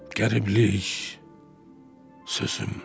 Qəriblik, sözüm.